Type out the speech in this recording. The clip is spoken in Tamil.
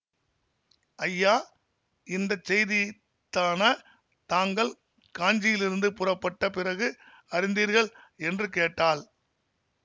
ஐயா இந்த செய்தியைத்தான தாங்கள் காஞ்சியிலிருந்து புறப்பட்ட பிறகு அறிந்தீர்கள் என்று கேட்டாள்